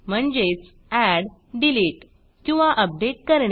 म्हणजेच add delete किंवा update करणे